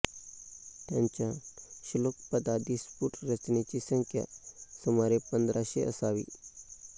त्यांच्या श्लोकपदादी स्फुट रचनेची संख्या सुमारे पंधराशे असावी